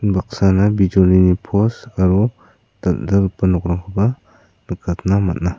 unbaksana bijolini pos aro dal·dalgipa nokrangkoba nikatna man·a.